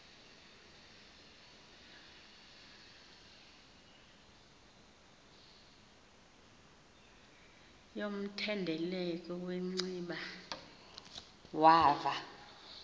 yomthendeleko wanciba wava